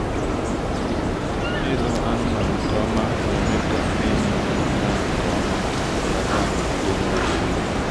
ịlụ anụmanụ nke ọma na-eme ka ịmụ gaa nke ọma ma belata nrụgide n’oge ime.